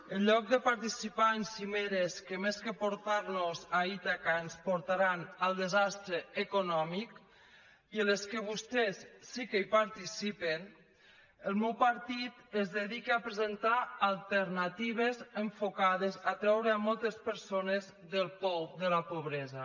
en lloc de participar en cimeres que més que portar nos a ítaca ens portaran al desastre econòmic i en les quals vostès sí que participen el meu partit es dedica a presentar alternatives enfocades a treure moltes persones del pou de la pobresa